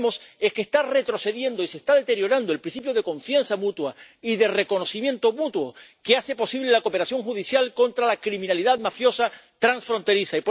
Y lo que vemos es que está retrocediendo y se está deteriorando el principio de confianza mutua y de reconocimiento mutuo, que hace posible la cooperación judicial contra la criminalidad mafiosa transfronteriza.